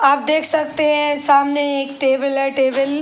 आप देख सकते हैं। सामने एक टेबल है। टेबल --